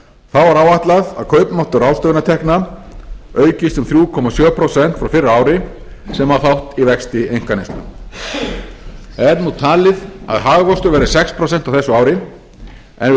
er áætlað að kaupmáttur ráðstöfunartekna aukist um þrjú komma sjö prósent frá fyrra ári sem á þátt í vexti einkaneyslu er nú talið að hagvöxtur verði sex prósent á þessu ári en við